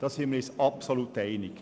Darin sind wir uns absolut einig.